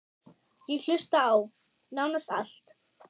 Ég hlusta á: nánast allt